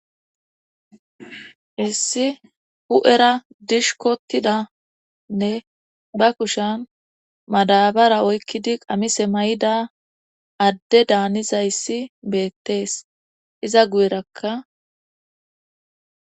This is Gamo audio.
Issi hu7era dishkotidanne ba kushan madabara oykkidi qamise may7ida adde daanizayssi beettees iza guyerakka